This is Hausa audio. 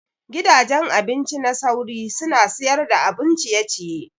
Gidajen abinci na sauri suna siyar da abun ciye ciye.